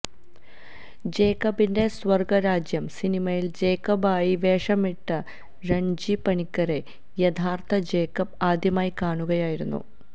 ജേക്കബിന്റെ സ്വർഗരാജ്യം സിനിമയിൽ ജേക്കബായി വേഷമിട്ട രൺജി പണിക്കരെ യഥാർഥ ജേക്കബ് ആദ്യമായി കാണുകയായിരുന്നു